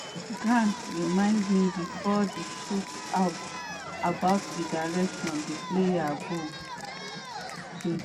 “grant remind me bifor di shootout about di directions di players go dey.”